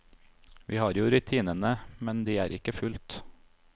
Vi har jo rutinene, men de er ikke fulgt.